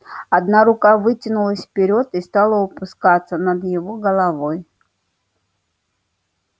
одна рука вытянулась вперёд и стала упускаться над его головой